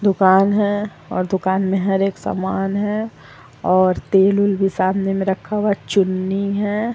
दुकान है और दुकान में हर एक सामान है और तेल-उल सामने में रखा हुआ और चीनी है ।